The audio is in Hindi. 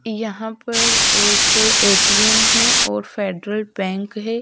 यहाँ पर एक ए_ टी_ एम् है और फ़ेडरल बैंक है।